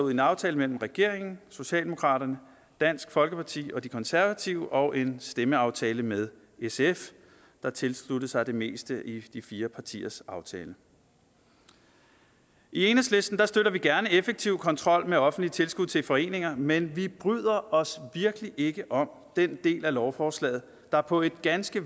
en aftale mellem regeringen socialdemokraterne dansk folkeparti og de konservative og en stemmeaftale med sf der tilsluttede sig det meste i de fire partiers aftale i enhedslisten støtter vi gerne effektiv kontrol med offentlige tilskud til foreninger men vi bryder os virkelig ikke om den del af lovforslaget der på et ganske